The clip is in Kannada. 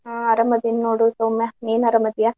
ಹಾ ಆರಾಮದಿನಿ ನೋಡ್ರಿ ಸೌಮ್ಯಾ. ನೀನ್ ಆರಾಮದಿಯ?